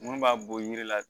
Mun b'a bɔ yiri la